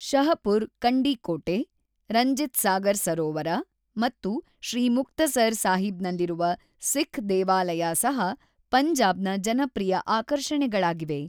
ಶಹಪುರ್ ಕಂಡಿ ಕೋಟೆ, ರಂಜಿತ್ ಸಾಗರ್ ಸರೋವರ ಮತ್ತು ಶ್ರೀ ಮುಕ್ತಸರ್‌ ಸಾಹಿಬ್‌ನಲ್ಲಿರುವ ಸಿಖ್ ದೇವಾಲಯ ಸಹ ಪಂಜಾಬ್‌ನ ಜನಪ್ರಿಯ ಆಕರ್ಷಣೆಗಳಾಗಿವೆ.